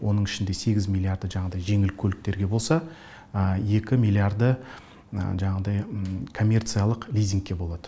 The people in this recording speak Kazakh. оның ішінде сегіз миллиарды жаңағыдай жеңіл көліктерге болса екі миллиарды жаңағыдай коммерциялық лизингкке болады